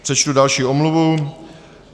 Přečtu další omluvu.